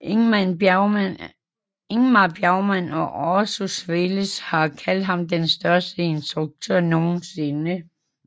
Ingmar Bergman og Orson Welles har kaldt ham den største instruktør nogensinde